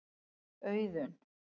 Auðun